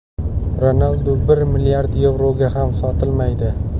Ronaldu bir milliard yevroga ham sotilmaydi.